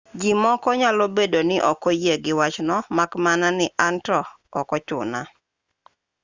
ji moko nyalo bedo ni ok oyie gi wachno mak mana ni an to ok ochuna